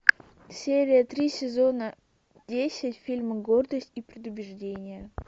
серия три сезона десять фильма гордость и предубеждение